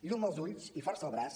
llum als ulls i força al braç